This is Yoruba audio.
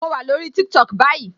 Mo wà lórí TikTok báyìí